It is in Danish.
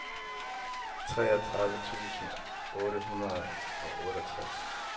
treogtredive tusind otte hundrede og otteogtres